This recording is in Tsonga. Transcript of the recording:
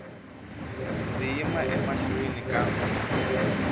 ndzi yima emahlweni ka n